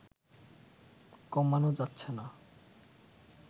কমানো যাচ্ছে না